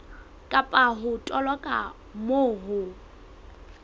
kapa ho toloka moo ho